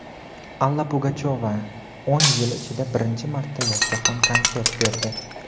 Alla Pugachyova o‘n yil ichida birinchi marta yakkaxon konsert berdi.